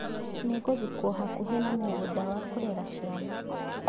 Nĩ ĩgũthikwo hakuhĩ na mũgũnda wa kũrera ciana.